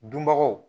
Dunbagaw